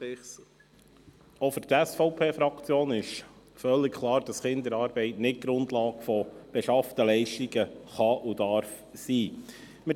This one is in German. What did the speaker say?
Auch für die SVP-Fraktion ist völlig klar, dass Kinderarbeit nicht Grundlage von beschafften Leistungen sein kann oder sein darf.